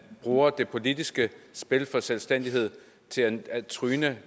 bruger det politiske spil om selvstændighed til at tryne